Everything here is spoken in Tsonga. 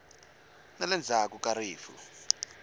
na le ndzhaku ka rifu